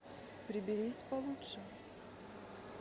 приберись получше